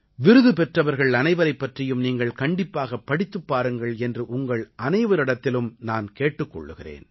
விருது பெற்றவர்கள் அனைவரைப் பற்றியும் நீங்கள் கண்டிப்பாகப் படித்துப் பாருங்கள் என்று உங்கள் அனைவரிடத்திலும் நான் கேட்டுக் கொள்கிறேன்